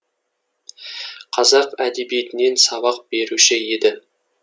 қазақ әдебиетінен сабақ беруші еді